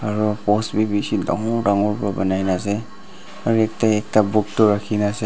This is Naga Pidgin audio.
aru post bi bishi dagor dagor ra banai ne ase aru ete ekta book tu rakhi ne ase.